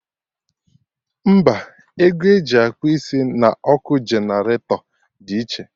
Mba, ego eji akpụ isi na ọkụ generator dị iche